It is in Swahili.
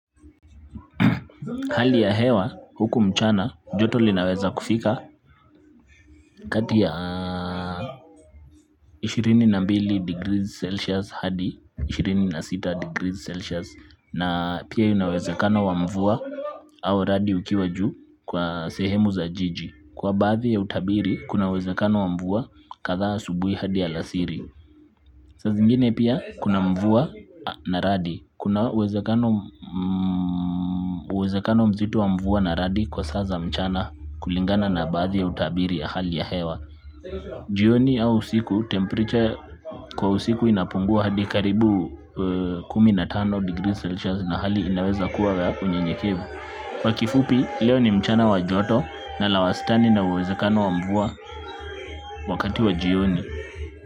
Hali ya hewa huku mchana joto linaweza kufika kati ya ishirini na mbili degrees celsius hadi ishirini na sita degrees celsius na pia ina uwezekano wa mvua au radi ukiwa juu kwa sehemu za jiji. Kwa baadhi ya utabiri kuna uwezekano wa mvua kadhaa asubuhi hadi alasiri. Saa zingine pia kuna mvua na radi, kuna uwezekano mzito wa mvua na radi kwa saa za mchana kulingana na baadhi ya utabiri wa hali ya hewa jioni au usiku temperature kwa usiku inapungua hadi karibu kumi na tano degrees Celsius na hali inaweza kuwa ya unyevunyevu kwa kifupi leo ni mchana wa joto na la wastani na uwezekano wa mvua wakati wa jioni.